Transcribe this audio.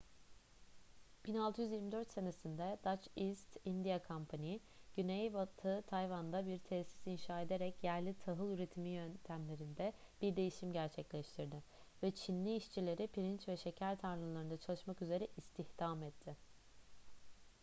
1624 senesinde dutch east india company güneybatı tayvan'da bir tesis inşa ederek yerli tahıl üretimi yöntemlerinde bir değişim gerçekleştirdi ve çinli işçileri pirinç ve şeker tarlalarında çalışmak üzere istihdam etti